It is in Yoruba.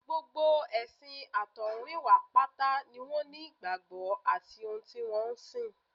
Gbogbo ẹ̀sìn àtọ̀húnrìnwá pátá ni wọ́n ní ìgbàgbọ́ àti ohun tí wọ́n ń sìn